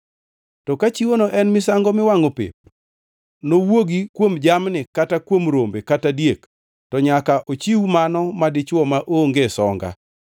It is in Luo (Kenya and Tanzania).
To ka chiwono en misango miwangʼo pep nowuogi kuom jamni kata kuom rombe kata diek, to nyaka ochiw mano madichwo maonge songa.